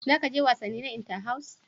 Za ka je wasanni na Inter-house?